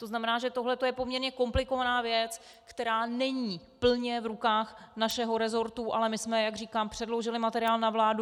To znamená, že tohleto je poměrně komplikovaná věc, která není plně v rukách našeho rezortu, ale my jsme, jak říkám, předložili materiál na vládu.